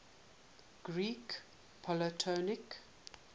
greek polytonic